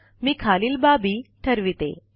मी खालील बाबी ठरविते